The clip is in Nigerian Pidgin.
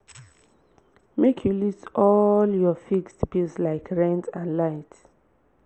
make you list all your fixed bills like rent and light